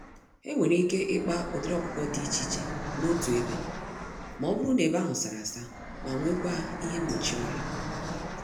Enwere ike ịkpa ụdịrị ọkụkọ dị iche iche n'otu ebe, mọbụrụ na ebe ahụ sárá-asa ma nwekwa ihe mgbochi ọrịa.